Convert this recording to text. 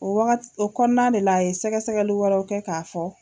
O waga o kɔnɔna de la a ye sɛgɛsɛgɛli wɛrɛw kɛ k'a fɔ